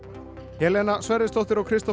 Helena Sverrisdóttir og Kristófer